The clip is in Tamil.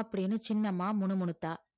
அப்படீன்னு சின்னம்மா முணுமுணுத்தா